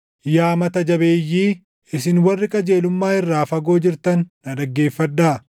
Yaa mata jabeeyyii, isin warri qajeelummaa irraa fagoo jirtan na dhaggeeffadhaa.